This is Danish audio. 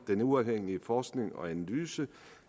den uafhængige forskning og analyse